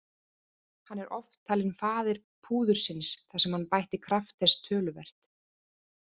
Hann er oft talinn faðir púðursins þar sem hann bætti kraft þess töluvert.